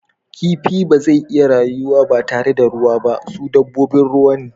Kifi ba zai iya rayuwa ba tare da ruwa ba, su dabbobin ruwa ne.